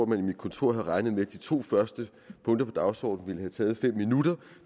man i mit kontor havde regnet med at de to første punkter på dagsordenen ville have taget fem minutter